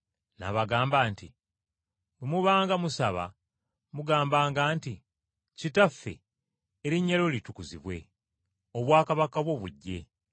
N’abagamba nti, “Bwe mubanga musaba mugambanga nti, “ ‘Kitaffe, Erinnya lyo litukuzibwe, obwakabaka bwo bujje.